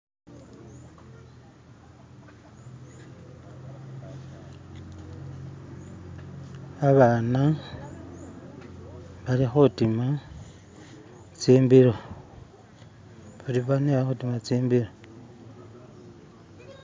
Abana balikhutima tsimbilo, bali bane balikhutima tsimbilo